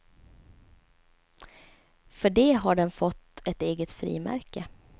För det har den fått ett eget frimärke.